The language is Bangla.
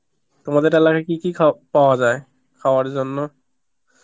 তোমাদের লগে কি কি খা~ পাওয়া যায়, খাবার জন্য